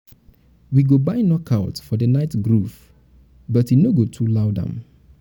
we go buy knockouts for the night groove but e no go too loud am.